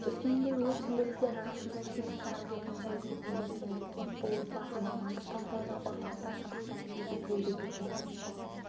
өскемендегі өрт сөндірушілер арасында титовтар әулетін білмейтіндер кемде-кем бұл отбасы мамандық таңдауда ұрпақтар сабақтасығын үзбеуге бекінген